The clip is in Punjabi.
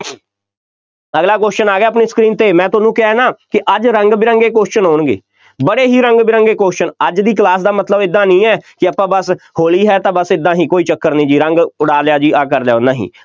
ਅਗਲਾ question ਆ ਗਿਆ ਆਪਣੀ screen 'ਤੇ, ਮੈਂ ਤੁਹਾਨੂੰ ਕਿਹਾ ਨਾ ਅੱਜ ਰੰਗ ਬਿਰੰਗੇ question ਆਉਣਗੇ, ਬੜੇ ਹੀ ਰੰਗ ਬਿਰੰਗੇ question ਅੱਜ ਦੀ class ਦਾ ਮਤਲਬ ਏਦਾਂ ਨਹੀਂ ਹੈ ਕਿ ਆਪਾਂ ਬਸ ਹੋਲੀ ਹੈ ਤਾਂ ਬਸ ਏਦਾਂ ਹੀ ਕੋਈ ਚੱਕਰ ਨਹੀਂ ਜੀ, ਰੰਗ ਉਡਾ ਲਿਆ ਜੀ, ਆਹ ਕਰ ਲਿਆ, ਨਹੀਂ